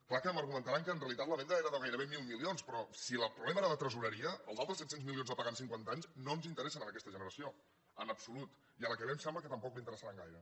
clar que m’argumentaran que en realitat la venda era de gairebé mil milions però si el problema era de tresoreria els altres set cents milions a pagar en cinquanta anys no ens interessen a aquesta generació en absolut i a la que ve em sembla que tampoc li interessaran gaire